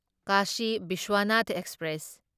Kashi Vishwanath express